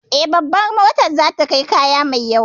Eh, Babar motar za ta kai kaya mai yawa